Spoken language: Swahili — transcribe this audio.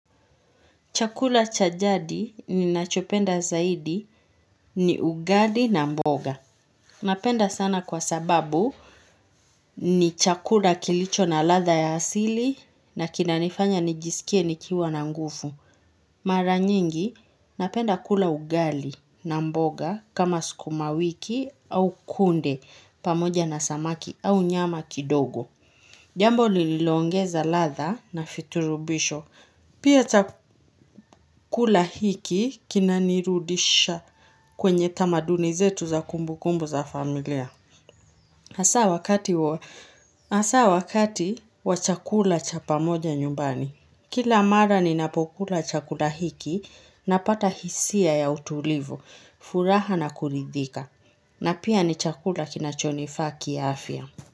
Chakula chajadi ni nachopenda zaidi ni ugali na mboga. Napenda sana kwa sababu ni chakula kilicho na latha ya asili na kinanifanya nijisikie nikiwa na nguvu. Mara nyingi napenda kula ugali na mboga kama skumawiki au kunde pamoja na samaki au nyama kidogo. Jambo lililongeza latha na virutubisho. Pia chakula hiki kinanirudisha kwenye tamaduni zetu za kumbu kumbu za familia. Asa wakati wa chakula cha pamoja nyumbani. Kila mara ni napokula chakula hiki na pata hisia ya utulivu, furaha na kuridhika. Na pia ni chakula kinachonifaa ki afya.